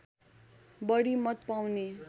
बढी मत पाउने